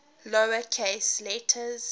lower case letters